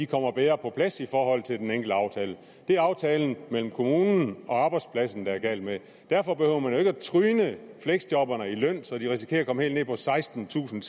kommer bedre på plads i forhold til den enkelte aftale det er aftalen mellem kommunen og arbejdspladsen det er galt med derfor behøver man jo ikke at tryne fleksjobberne i løn så de risikerer at komme helt ned på sekstentusinde